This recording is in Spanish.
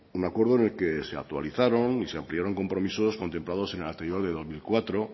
un acuerdo en el que se actualizaron y se ampliaron compromisos contemplados en el anterior al de dos mil cuatro